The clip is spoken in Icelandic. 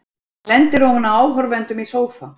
Lendir ofan á áhorfendum í sófa.